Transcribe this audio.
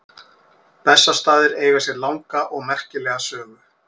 Bessastaðir eiga sér langa og merkilega sögu.